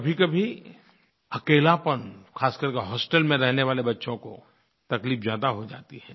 कभीकभी अकेलापन ख़ास कर के होस्टेल में रहने वाले बच्चों को तकलीफ़ ज़्यादा हो जाती है